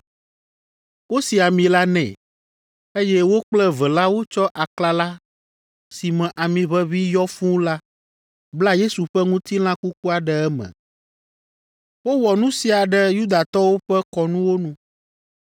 Wosi ami la nɛ, eye wo kple eve la wotsɔ aklala si me ami ʋeʋĩ yɔ fũu la bla Yesu ƒe ŋutilã kukua ɖe eme. Wowɔ nu sia ɖe Yudatɔwo ƒe kɔnuwo nu.